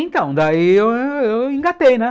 Então, daí eu eu engatei, né?